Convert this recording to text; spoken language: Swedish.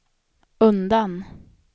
undan